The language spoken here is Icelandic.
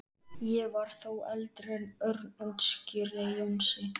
Ég var þó eldri en Örn útskýrði Jónsi.